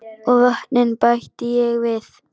Og vötnin bætti ég við.